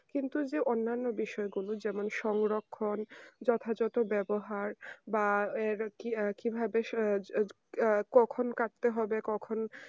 কিন্তু অন্য অন্য বিষয়ে গুলো যেমন সংরক্ষণ যথাযত বেবহার বা আর কি ভাবেক্ষণ কাটতে হবে কখন